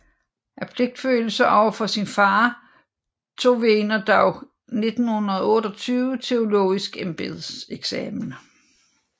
Af pligtfølelse over for sin far tog Wegener dog 1828 teologisk embedseksamen